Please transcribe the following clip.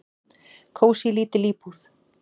"""Kósí, lítil íbúð."""